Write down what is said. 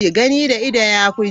Gani da ido yafi ji.